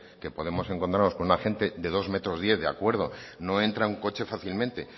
que podemos encontrarnos con un agente de dos metros diez de acuerdo no entra en un coche fácilmente